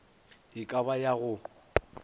e ka ba ya go